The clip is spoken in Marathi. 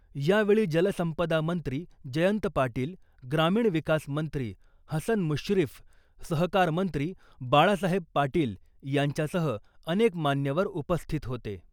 यावेळी जलसंपदा मंत्री जयंत पाटील , ग्रामीण विकास मंत्री हसन मुश्रीफ , सहकारमंत्री बाळासाहेब पाटील यांच्यासह अनेक मान्यवर उपस्थित होते .